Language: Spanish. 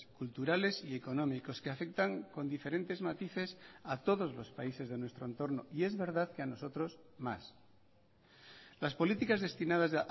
culturales y económicos que afectan con diferentes matices a todos los países de nuestro entorno y es verdad que a nosotros más las políticas destinadas